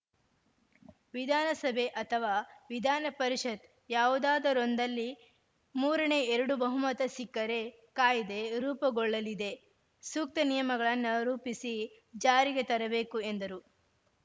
ವಿಧಾನಸಭೆ ಅಥವಾ ವಿಧಾನಪರಿಷತ್‌ ಯಾವುದಾದರೊಂದರಲ್ಲಿ ಮೂರನೇ ಎರಡು ಬಹುಮತ ಸಿಕ್ಕರೆ ಕಾಯ್ದೆ ರೂಪುಗೊಳ್ಳಲಿದೆ ಸೂಕ್ತ ನಿಯಮಗಳನ್ನ ರೂಪಿಸಿ ಜಾರಿಗೆ ತರಬೇಕು ಎಂದರು